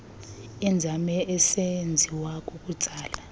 inzame isenziwa kukutsala